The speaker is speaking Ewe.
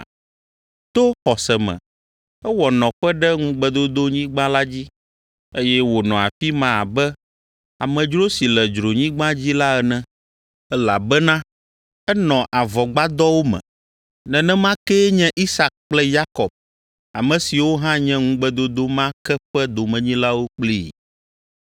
To xɔse me ewɔ nɔƒe ɖe ŋugbedodonyigba la dzi, eye wònɔ afi ma abe amedzro si le dzronyigba dzi la ene, elabena enɔ avɔgbadɔwo me. Nenema kee nye Isak kple Yakob ame siwo hã nye ŋugbedodo ma ke ƒe domenyilawo kplii.